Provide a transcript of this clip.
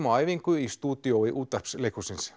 á æfingu í stúdíói